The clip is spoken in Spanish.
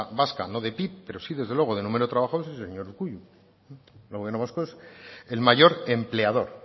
vasca no de pib pero sí desde luego de números de trabajadores es el señor urkullu el gobierno vasco es el mayor empleador